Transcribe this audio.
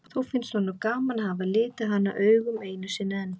Þó finnst honum gaman að hafa litið hana augum einu sinni enn.